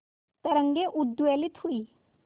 तरंगे उद्वेलित हुई